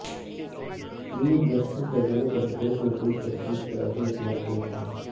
chief justice کا زینب قتل case میں پولیس تفتیش پرعدم اعتماد کا اظہار